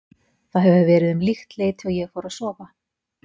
Það hefur verið um líkt leyti og ég fór að sofa.